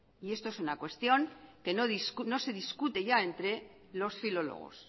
y esto es una cuestión que no se discute ya entre los filólogos